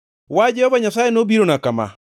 Wach Jehova Nyasaye nobirona kama: